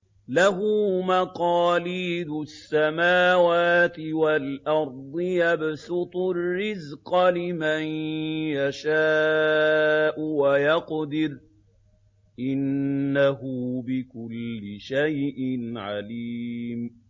لَهُ مَقَالِيدُ السَّمَاوَاتِ وَالْأَرْضِ ۖ يَبْسُطُ الرِّزْقَ لِمَن يَشَاءُ وَيَقْدِرُ ۚ إِنَّهُ بِكُلِّ شَيْءٍ عَلِيمٌ